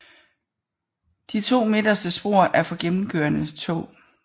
De to midterste spor er for gennemkørende tog